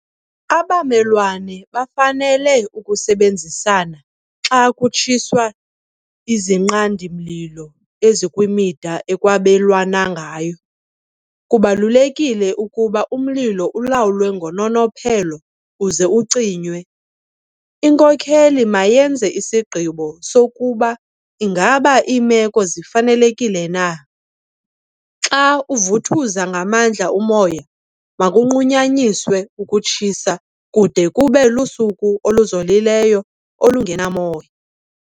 Abamelwane bafanele ukusebenzisana xa kutshiswa izinqandi-mlilo ezikwimida ekwabelwana ngayo. Kubalulekile ukuba umlilo ulawulwe ngononophelo uze ucinywe. Inkokeli mayenze isigqibo sokuba ingaba iimeko zifanelekile na. Xa uvuthuza ngamandla umoya, makunqunyanyiswe ukutshisa kude kube lusuku oluzolileyo olungenamoya.